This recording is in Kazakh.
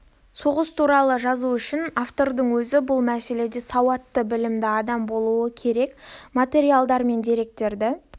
соғыс туралы жазу үшін автордың өзі бұл мәселеде сауатты білімді адам болуы керек материалдар мен деректерді